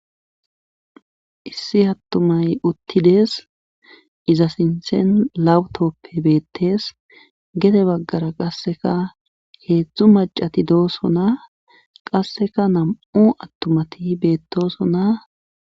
Issi attumay uttides iza sinthen lawutoppe beettes gete baggara qasseka keedzdzu macati doosona qasseka nam7u attumati beettoosona.